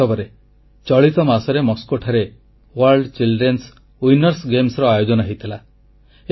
ବାସ୍ତବରେ ଚଳିତ ମାସରେ ମସ୍କୋଠାରେ ୱର୍ଲ୍ଡ childrenଏସ୍ ୱିନର୍ସ ଗେମ୍ସ ର ଆୟୋଜନ ହୋଇଥିଲା